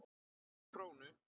Ekki krónu.